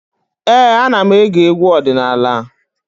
Ee, ana m ege egwu ọdịnala.